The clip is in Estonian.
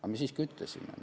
Aga me siiski ütlesime.